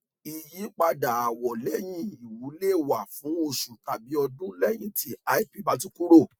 ìyípadà àwọ lẹyìn lè wà fún oṣù tàbí ọdún lẹyìn tí lp bá ti kúrò